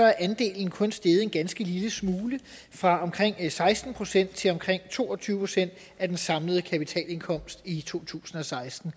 er andelen kun steget en ganske lille smule fra omkring seksten procent til omkring to og tyve procent af den samlede kapitalindkomst i to tusind og seksten